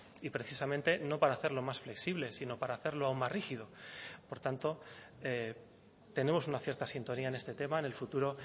y precisamente no para hacerlo más flexible sino para hacerlo aún más rígido por tanto tenemos una cierta sintonía en este tema en el futuro